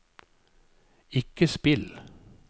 ikke spill